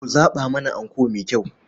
Ku zaɓa mana anko mai kyau.